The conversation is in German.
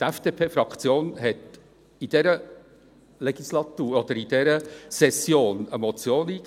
Die FDP-Fraktion hat in dieser Session eine Motion eingegeben: